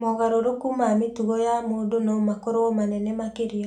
Mogarũrũku ma mĩtugo ya mũndũ no makorũo manene makĩria.